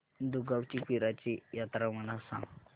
दुगावची पीराची यात्रा मला सांग